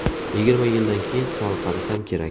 Yigirma yildan keyin sal qarisam kerak.